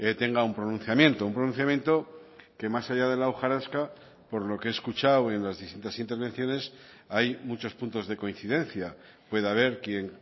tenga un pronunciamiento un pronunciamiento que más allá de la hojarasca por lo que he escuchado en las distintas intervenciones hay muchos puntos de coincidencia puede haber quien